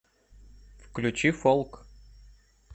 включи фолк